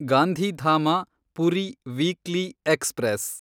Gandhidham Puri weekly express